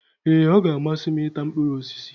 Ee! Ọ g'amasị m i ta mkpụrụ osisi.